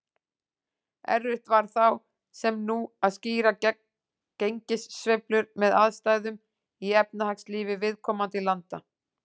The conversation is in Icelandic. Erfitt var þá, sem nú, að skýra gengissveiflur með aðstæðum í efnahagslífi viðkomandi landa.